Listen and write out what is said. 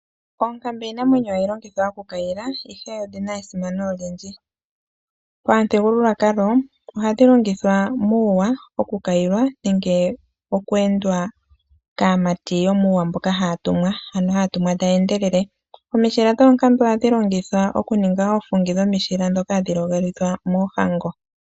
Oonkambe iinamwenyo hayi kwayilwa ashike odhina esimano olyindji. Pamuthigululwakalo, ohadhi longithwa muuwa okukayilwa nenge oku endwa kaamati yomuuwa mboka haya tumwa ano haya tumwa taya endelele. Omishila dhoonkambe ohadhi longithwa okuninga oofungi dhomishila ndhoka hadhi ligolithwa moohango.